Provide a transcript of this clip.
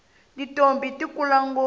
tintombhi ti kula ngopfu